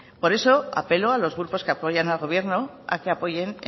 por eso apelo a los grupos que apoyan al gobierno a que apoyen